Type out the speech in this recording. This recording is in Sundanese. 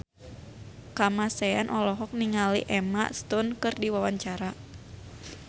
Kamasean olohok ningali Emma Stone keur diwawancara